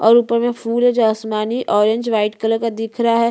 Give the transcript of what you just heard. पीछे एक गाज है जिसमे हरे कलर की लाइट आ रही है पत्ते दिख रहे है।